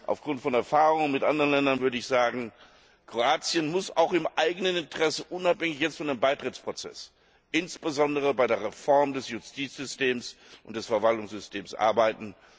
Aufgrund von Erfahrungen mit anderen Ländern würde ich jedoch sagen Kroatien muss auch im eigenen Interesse unabhängig vom Beitrittsprozess insbesondere an der Reform des Justiz und Verwaltungssystems arbeiten.